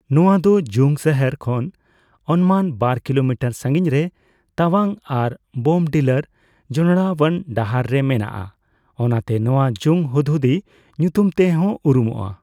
ᱱᱚᱣᱟ ᱫᱚ ᱡᱩᱝ ᱥᱟᱦᱟᱨ ᱠᱷᱚᱱ ᱚᱱᱢᱟᱱ ᱵᱟᱨ ᱠᱤᱞᱳᱢᱤᱴᱟᱨ ᱥᱟᱹᱜᱤᱧᱨᱮ ᱛᱟᱣᱟᱝ ᱟᱨ ᱵᱳᱢᱰᱤᱞᱟᱨ ᱡᱚᱱᱚᱲᱟᱣᱟᱱ ᱰᱟᱦᱟᱨ ᱨᱮ ᱢᱮᱱᱟᱜᱼᱟ, ᱚᱱᱟᱛᱮ ᱱᱚᱣᱟ ᱡᱩᱝ ᱦᱩᱫᱦᱩᱫᱤ ᱧᱩᱛᱩᱢᱛᱮᱦᱚᱸ ᱩᱨᱩᱢᱚᱜᱼᱟ ᱾